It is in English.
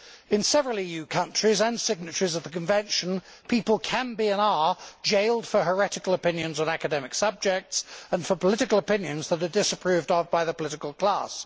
In several EU countries and signatories to the Convention, people can be and are jailed for heretical opinions on academic subjects and for political opinions that are disapproved of by the political class.